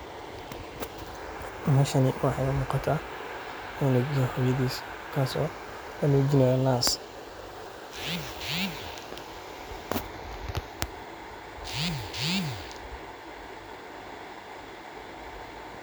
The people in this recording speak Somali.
Meshani waxay umugata cunug iyo hoyadis kaas oo lanujinayo naas.